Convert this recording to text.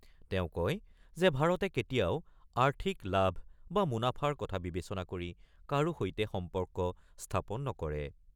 তেওঁ কয় যে ভাৰতে কেতিয়াও আৰ্থিক লাভ বা মুনাফাৰ কথা বিবেচনা কৰি কাৰো সৈতে সম্পৰ্ক স্থাপন নকৰে।